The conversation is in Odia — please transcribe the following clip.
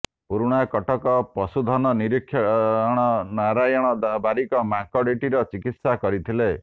ପୁରୁଣାକଟକ ପଶୁଧନ ନିରିକ୍ଷକ ନାରାୟଣ ବାରିକ ମାଙ୍କଡଟିର ଚିକିତ୍ସା କରିଥିଲେ